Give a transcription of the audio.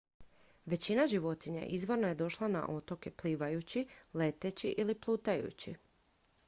većina životinja izvorno je došla na otoke plivajući leteći ili plutajući